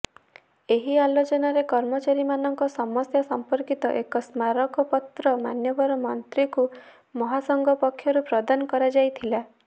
ଏହି ଆଲୋଚନାରେ କର୍ମଚାରୀମାନଙ୍କ ସମସ୍ୟା ସଂପର୍କିତ ଏକ ସ୍ମାରକପତ୍ର ମାନ୍ୟବର ମନ୍ତ୍ରୀଙ୍କୁ ମହାସଂଘ ପକ୍ଷରୁ ପ୍ରଦାନ କରାଯାଇଥିଲା